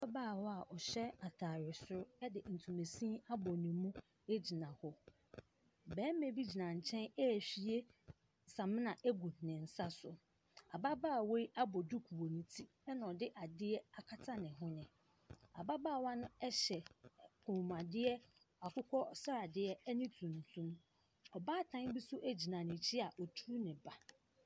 Ababaawa a ɔhyɛ atare soro de ntoma sini abɔ ne mu gyina hɔ. Barima bi gyina nkyɛn rehwie samena agu ne nsa so. Ababaawa yi abɔ duku wɔ ne ti ɛnna ɔde adeɛ akata ne hwene. Abaawa no hyɛ kɔmmuadeɛ akokɔ sradeɛ ne tuntum. Ɔbaatan bi nso gyina ne nkyɛn a ɔreturu ne ba.